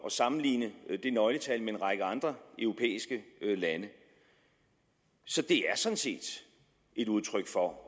at sammenligne det nøgletal med en række andre europæiske landes så det er sådan set et udtryk for at